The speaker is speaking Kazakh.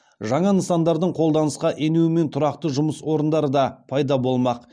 жаңа нысандардың қолданысқа енуі мен тұрақты жұмыс орындары да пайда болмақ